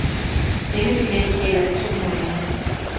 Denne billet gælder i to måneder.